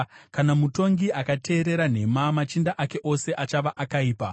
Kana mutongi akateerera nhema machinda ake ose achava akaipa.